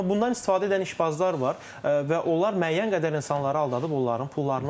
Amma bundan istifadə edən işbazlar var və onlar müəyyən qədər insanları aldadıb onların pullarını alırlar.